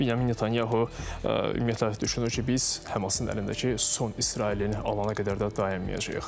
Binyamin Netanyahu ümumiyyətlə düşünür ki, biz Həmasın əlindəki son İsraillini alana qədər də dayanmayacağıq.